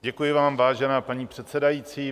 Děkuji vám, vážená paní předsedající.